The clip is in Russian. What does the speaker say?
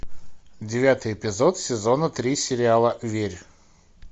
девятый эпизод сезона три сериала верь